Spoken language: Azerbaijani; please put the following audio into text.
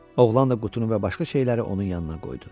Oğlan da qutunu və başqa şeyləri onun yanına qoydu.